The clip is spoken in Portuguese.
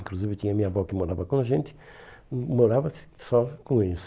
Inclusive, tinha minha avó que morava com a gente, e morava só com eles